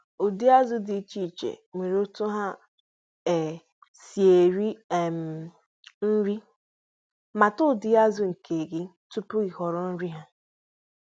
Ụdịrị azụ ọbula dị iche iche nwere ụzọ i pụrụ iche um ha ji eri nri- mara nkea tupu ị um họrọ nri.